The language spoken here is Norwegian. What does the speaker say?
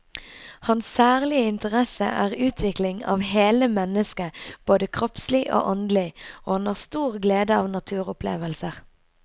Hans særlige interesse er utvikling av hele mennesket både kroppslig og åndelig, og han har stor glede av naturopplevelser.